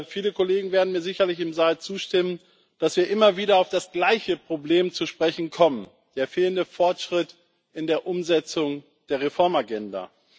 Viele Kollegen im Saal werden mir sicherlich zustimmen, dass wir immer wieder auf das gleiche Problem zu sprechen kommen den fehlenden Fortschritt in der Umsetzung der Reformagenda.